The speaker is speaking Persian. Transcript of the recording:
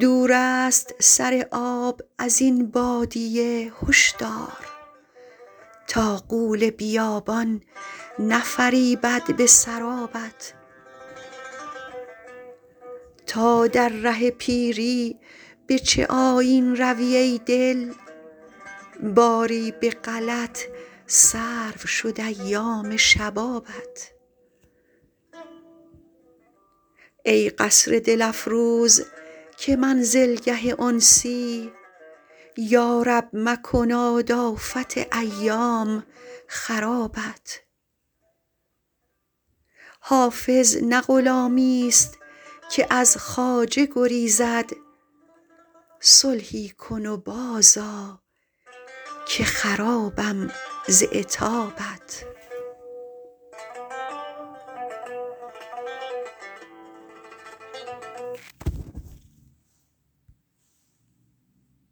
دور است سر آب از این بادیه هشدار تا غول بیابان نفریبد به سرابت تا در ره پیری به چه آیین روی ای دل باری به غلط صرف شد ایام شبابت ای قصر دل افروز که منزلگه انسی یا رب مکناد آفت ایام خرابت حافظ نه غلامیست که از خواجه گریزد صلحی کن و بازآ که خرابم ز عتابت